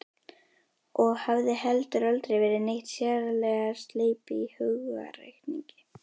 Og hafði heldur aldrei verið neitt sérlega sleip í hugarreikningi.